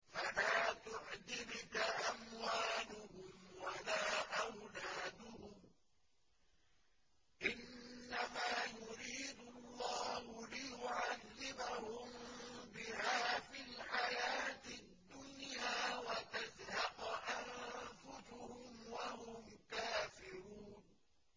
فَلَا تُعْجِبْكَ أَمْوَالُهُمْ وَلَا أَوْلَادُهُمْ ۚ إِنَّمَا يُرِيدُ اللَّهُ لِيُعَذِّبَهُم بِهَا فِي الْحَيَاةِ الدُّنْيَا وَتَزْهَقَ أَنفُسُهُمْ وَهُمْ كَافِرُونَ